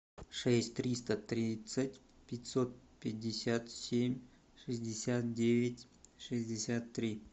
шесть триста тридцать пятьсот пятьдесят семь шестьдесят девять шестьдесят три